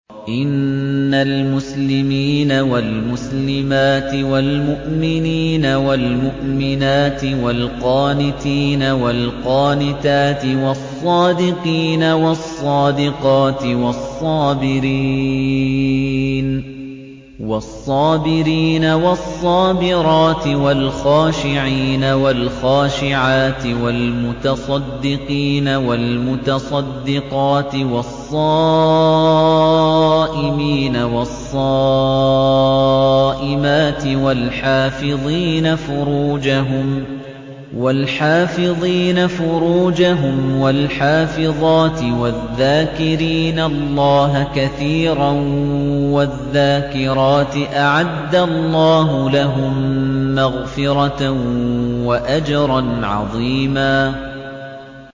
إِنَّ الْمُسْلِمِينَ وَالْمُسْلِمَاتِ وَالْمُؤْمِنِينَ وَالْمُؤْمِنَاتِ وَالْقَانِتِينَ وَالْقَانِتَاتِ وَالصَّادِقِينَ وَالصَّادِقَاتِ وَالصَّابِرِينَ وَالصَّابِرَاتِ وَالْخَاشِعِينَ وَالْخَاشِعَاتِ وَالْمُتَصَدِّقِينَ وَالْمُتَصَدِّقَاتِ وَالصَّائِمِينَ وَالصَّائِمَاتِ وَالْحَافِظِينَ فُرُوجَهُمْ وَالْحَافِظَاتِ وَالذَّاكِرِينَ اللَّهَ كَثِيرًا وَالذَّاكِرَاتِ أَعَدَّ اللَّهُ لَهُم مَّغْفِرَةً وَأَجْرًا عَظِيمًا